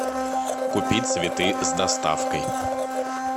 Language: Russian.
купить цветы с доставкой